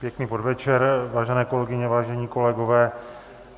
Pěkný podvečer, vážené kolegyně, vážení kolegové.